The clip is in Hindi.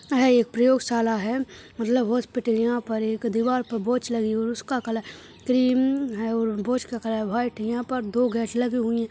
यह एक प्रयोग शाला है मतलब हॉस्पिटल यहा पर एक दिवार पर एक वॉच लगी है और उसका कलर क्रीम है और वॉच का कलर व्हाइट है यहा पर दो गेट लगे हुए--